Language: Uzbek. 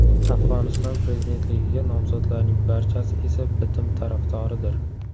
Afg‘oniston prezidentligiga nomzodlarning barchasi esa bitim tarafdoridir.